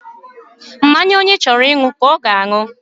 Mmanya onye chọrọ ịṅụ ka ọ ga-aṅụ.